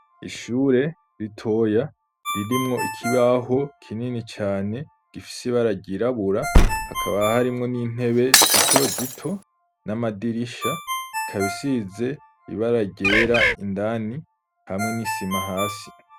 Ishure ritoya ririmwo ikibaho kinini cane gifise ibara ryirabura hakaba harimwo n'intebe zito zito n'amadirisha ikaba isize ibara ryera indani hamwe n'isima hasi.